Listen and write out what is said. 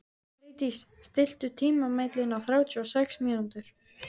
Freydís, stilltu tímamælinn á þrjátíu og sex mínútur.